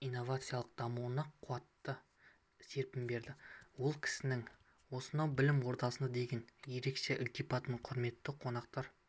инновациялық дамуына қуатты серпін берді ол кісінің осынау білім ордасына деген ерекше ілтипатын құрметті қонақтар